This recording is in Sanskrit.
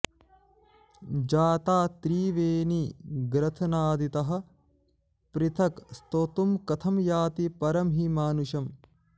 जाता त्रिवेणी ग्रथनादितः पृथक् स्तोतुं कथं याति परं हि मानुषम्